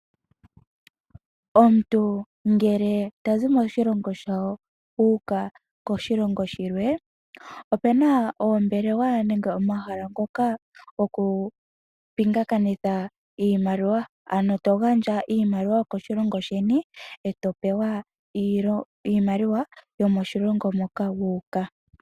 Omuntu ngele tazi moshilongo shawo a uka koshilongo shilwe, ope na oombelewa nenge omahala ngoka goku pingakanitha iimaliwa ano to gandja iimaliwa yokoshilongo sheni ee topewa iimaliwa yomoshilongo moka wa uka.